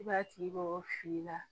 I b'a tigi mago fili i la